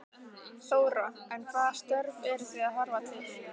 Þóra: En hvaða störf eru þið að horfa til?